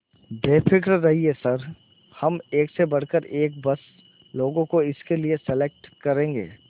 बेफिक्र रहिए सर हम एक से बढ़कर एक बस लोगों को इसके लिए सेलेक्ट करेंगे